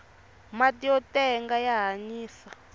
mati yo tenga ya hanyisa